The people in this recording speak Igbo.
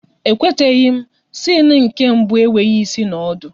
E kwetaghi m, siene nke mbụ enweghị ịsị na ọdụ